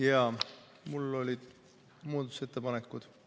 Jaa, mul olid muudatusettepanekud ees.